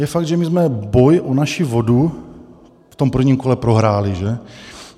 Je fakt, že my jsme boj o naši vodu v tom prvním kole prohráli, že.